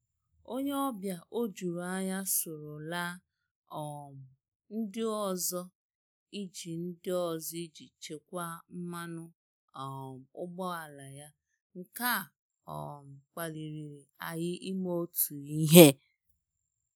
Ónyé ọ́bịà ójúrú ányá sóró lá um ndí ọ́zọ́ íjí ndí ọ́zọ́ íjí chékwàá mmánụ́ um ụ́gbọ́álá yá, nké á um kpálirìré ànyị́ ímé ótú íhé.